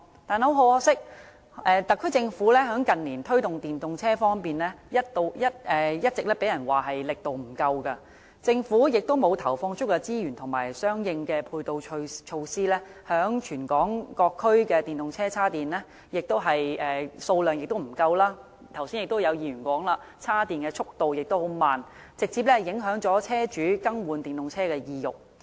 但很可惜，特區政府近年在推動電動車方面，一直被人批評力度不足，政府沒有投放足夠資源和相應配套措施，加上全港各區的電動車充電位的數量不足，而議員剛才也提到充電度緩慢的問題，直接影響車主更換電動車的意欲。